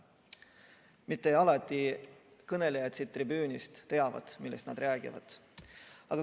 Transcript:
Mitte alati siin tribüünil kõnelejad ei tea, millest nad räägivad.